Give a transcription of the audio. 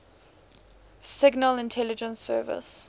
signal intelligence service